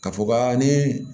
Ka fɔ ka ni